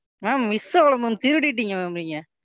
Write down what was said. Ma'am miss ஆகலை Ma'am திருடிட்டீங்க Ma'am நீங்க,